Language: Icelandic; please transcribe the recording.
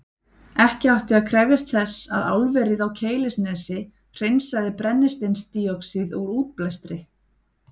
Ekki átti að krefjast þess að álverið á Keilisnesi hreinsaði brennisteinsdíoxíð úr útblæstri.